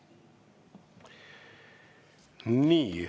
Nii.